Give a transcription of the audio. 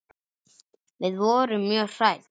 Við vorum mjög hrædd.